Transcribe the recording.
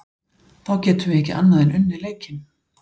þá getum við ekki annað en unnið leikinn